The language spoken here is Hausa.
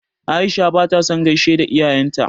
Aisha ba ta son gaishe da iyayen ta.